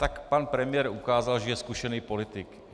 Tak pan premiér ukázal, že je zkušený politik.